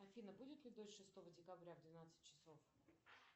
афина будет ли дождь шестого декабря в двенадцать часов